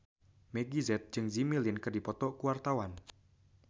Meggie Z jeung Jimmy Lin keur dipoto ku wartawan